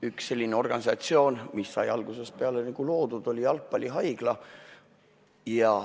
Üks selline organisatsioon, mis sai algusest peale loodud, oli Jalgpallihaigla.